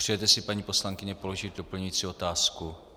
Přejete si, paní poslankyně, položit doplňující otázku?